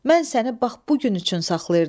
Mən səni bax bu gün üçün saxlayırdım.